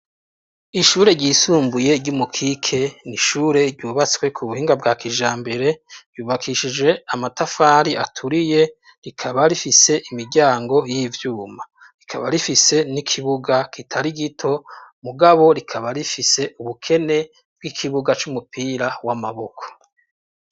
Ishure ryisumbuye ry’umukike n’ishure ryubatswe kubuhinga bwa kijambere ryubakishijwe amatafari aturiye rikaba rifise imiryango yivyuma rikaba rifise n’ikibuga kitari gito mugabo rikaba rifise ubukene bwikibuga cumupira w’amaboko.